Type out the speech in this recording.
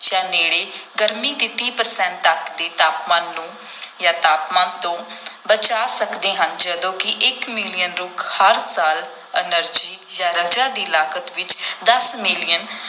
ਜਾਂ ਨੇੜੇ ਗਰਮੀ ਦੇ ਤੀਹ percent ਤੱਕ ਦੇ ਤਾਪਮਾਨ ਨੂੰ ਜਾਂ ਤਾਪਮਾਨ ਤੋਂ ਬਚਾ ਸਕਦੇ ਹਨ ਜਦੋਂ ਕਿ ਇੱਕ ਮਿਲੀਅਨ ਰੁੱਖ ਹਰ ਸਾਲ energy ਜਾਂ ਰਜਾ ਦੀ ਲਾਗਤ ਵਿੱਚ ਦਸ ਮਿਲੀਅਨ